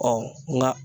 nka